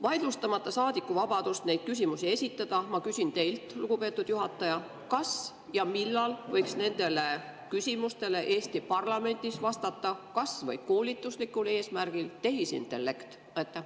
Vaidlustamata saadiku vabadust neid küsimusi esitada, ma küsin teilt, lugupeetud juhataja: kas ja millal võiks nendele küsimustele Eesti parlamendis vastata kas või koolituslikul eesmärgil tehisintellekt?